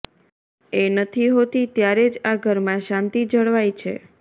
એ નથી હોતી ત્યારે જ આ ઘરમાં શાંતિ જળવાય છે